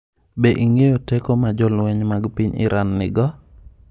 Be ing’eyo teko ma jolweny mag piny Iran nigo?